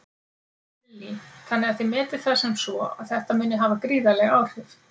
Lillý: Þannig að þið metið það sem svo að þetta muni hafa gríðarleg áhrif?